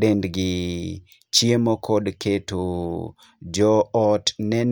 dendgi, chiemo kod keto. Jo ot ne...